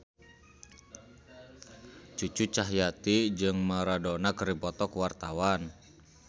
Cucu Cahyati jeung Maradona keur dipoto ku wartawan